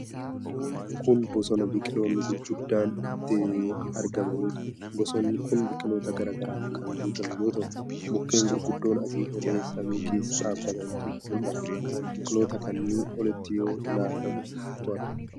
Kuni bosona biqiloonni gurguddoon itti argamanidha. Bosonni kun biqiloota garaa garaan kan guutame yoo ta'u, mukkeen gurguddoon asii olee samii keessa dhaabatantu mul'ata. Biqiloota kanaa olitti yoo ol ilaalamu maaltu argama?